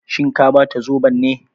Shin ka bata zobon ne?